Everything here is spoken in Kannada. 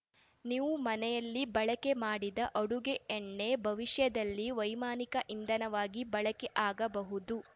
ನೀವು ಮನೆಯಲ್ಲಿ ಬಳಕೆ ಮಾಡಿದ ಅಡುಗೆ ಎಣ್ಣೆ ಭವಿಷ್ಯದಲ್ಲಿ ವೈಮಾನಿಕ ಇಂಧನವಾಗಿ ಬಳಕೆ ಆಗಬಹುದು